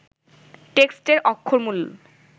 টেক্সটের অক্ষরমূল